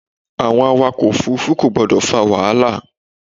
Àwọn awakọ̀ òfúrúfú kò gbọ́dọ̀ fa wàhálà.